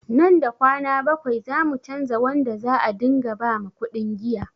Nan da kwana bakwai zamu canza wanda za a ɗinga ba makuɗin giya